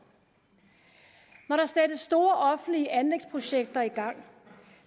når der sættes store offentlige anlægsprojekter i gang